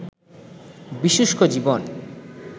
বিশুষ্ক জীবন